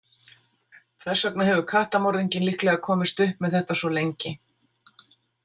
Þess vegna hefur kattamorðinginn líklega komist upp með þetta svo lengi.